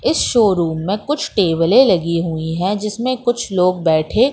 इस शोरूम में कुछ टेबले लगी हुई है जिसमें कुछ लोग बैठे--